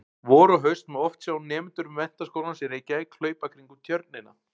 Vor og haust má oft sjá nemendur Menntaskólans í Reykjavík hlaupa kringum Tjörnina.